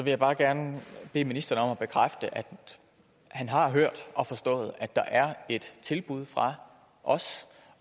jeg bare gerne bede ministeren om at bekræfte at han har hørt og forstået at der er et tilbud fra os